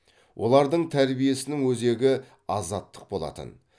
олардың тәрбиесінің өзегі азаттық болатын